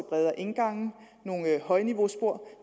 bredere indgange og nogle højniveauspor